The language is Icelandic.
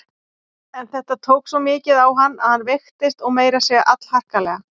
En þetta tók svo mikið á hann að hann veiktist og meira að segja allharkalega.